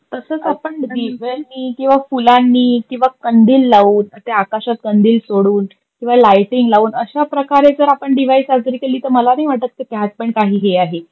तसच आपण दिव्यांनी किवा फुलांनी किवा कंदील लाऊन मग ते आकाशात कंदील सोडून किवा लईटिंग लाऊन अश्या प्रकारे जर आपण दिवाळी साजरी केली त मला नाही वाटत की त्यात पण काही हे आहे.